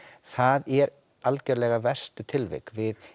það eru algerlega verstu tilvik